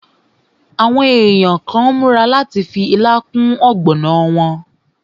Àwọn èèyàn kàn n múra láti fi ilá kún ọ̀gbọ̀nà wọn